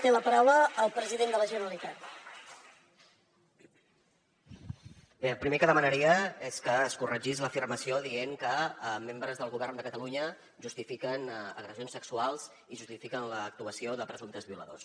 bé el primer que demanaria és que es corregís l’afirmació dient que membres del govern de catalunya justifiquen agressions sexuals i justifiquen l’actuació de presumptes violadors